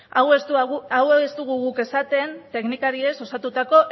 hau ez dugu guk esaten teknikariez osatutako